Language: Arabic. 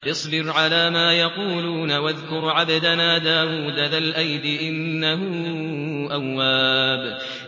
اصْبِرْ عَلَىٰ مَا يَقُولُونَ وَاذْكُرْ عَبْدَنَا دَاوُودَ ذَا الْأَيْدِ ۖ إِنَّهُ أَوَّابٌ